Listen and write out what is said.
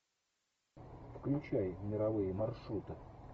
включай мировые маршруты